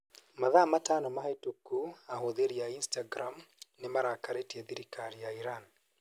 Mathaa matano mahĩtũku ahũthĩri a Instagram nĩ marakarĩtie thirikari ya Iran.